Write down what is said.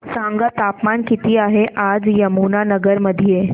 सांगा तापमान किती आहे आज यमुनानगर मध्ये